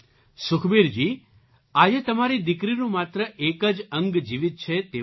સુખબીરજી આજે તમારી દીકરીનું માત્ર એક જ અંગ જીવિત છે તેવું નથી